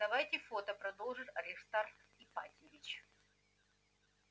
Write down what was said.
давайте фото продолжил аристарх ипатьевич